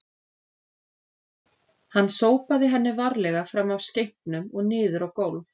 Hann sópaði henni varlega fram af skenknum og niður á gólf